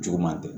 Juguman tɛ